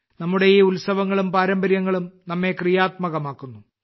നമ്മുടെ ഈ ഉത്സവങ്ങളും പാരമ്പര്യങ്ങളും നമ്മെ ക്രിയാത്മകമാക്കുന്നു